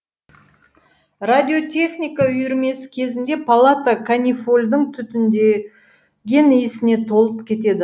радиотехника үйірмесі кезінде палата канифольдің түтіндеген исіне толып кетеді